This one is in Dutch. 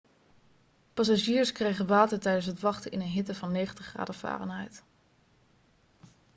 passagiers kregen water tijdens het wachten in een hitte van 90 graden fahrenheit